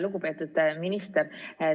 Lugupeetud minister!